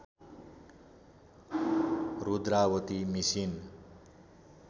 Rudravati machine